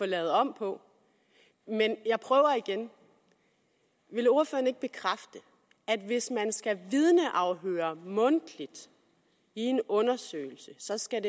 lavet om på men jeg prøver igen vil ordføreren ikke bekræfte at hvis man skal vidneafhøre mundtligt i en undersøgelse så skal